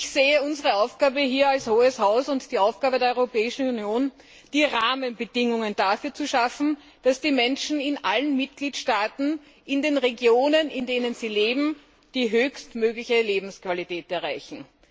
Ich sehe unsere Aufgabe hier als Hohes Haus und die Aufgabe der Europäischen Union darin, die Rahmenbedingungen dafür zu schaffen, dass die Menschen in allen Mitgliedstaaten, in den Regionen, in denen sie leben, die höchstmögliche Lebensqualität erreichen.